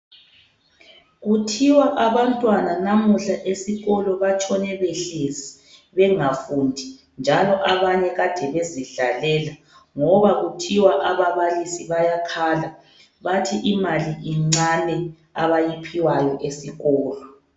Kuthiwa abantwana namuhla esikolo batshone behlezi bengafundi njalo abanye kade bezidlalela ngoba kuthiwa ababalisi bayakhala bathi imali incane abayiphiwayo esikolo.